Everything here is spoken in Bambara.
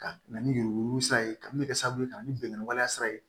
Ka na ni yuruku yururu sira ye ka min bɛ kɛ sababu ye ka ni bɛnkanni waleya ye